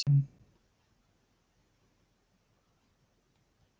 Eldsneytið hækkar enn